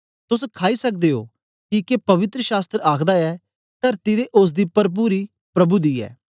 तोस खाई सकदे ओ किके पवित्र शास्त्र आखदा ऐ तरती ते ओसदी परपुरी प्रभु दी ऐ